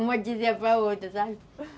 Uma dizia para outra, sabe?